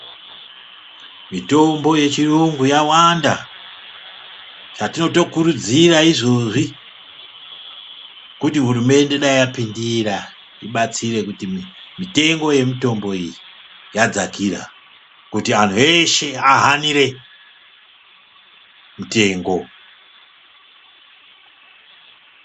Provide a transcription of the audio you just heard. Mitombo yechiyungu yawanda zvatinotokurudzira izvozvi kuti hurumende dai yapindira ibatsire kuti mitengo yemitombo iyi yadzakira kuti anthu eshe ahanire mutengo.